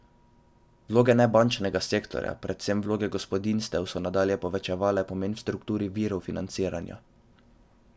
Vloge nebančnega sektorja, predvsem vloge gospodinjstev, so nadalje povečevale pomen v strukturi virov financiranja.